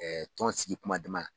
sigi kuma dama.